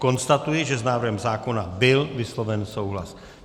Konstatuji, že s návrhem zákona byl vysloven souhlas.